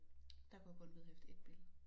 Der kunne jeg kun vedhæfte ét billede